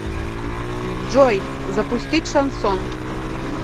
джой запустить шансон